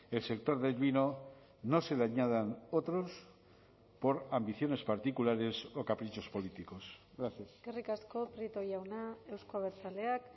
el sector del vino no se le añadan otros por ambiciones particulares o caprichos políticos gracias eskerrik asko prieto jauna euzko abertzaleak